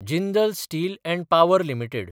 Jindal steel & power limited